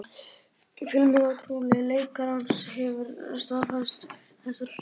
Fjölmiðlafulltrúi leikarans hefur staðfest þessar fréttir